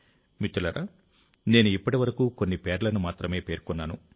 మిత్రులారా నేను ఇప్పటివరకు కొన్ని పేర్లను మాత్రమే పేర్కొన్నాను